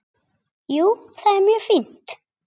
Jú, það er mjög fínt.